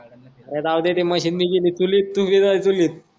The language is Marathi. अरे राहूदे ते मशीन भी गेली चुलीत अन तू भी जाय चुलीत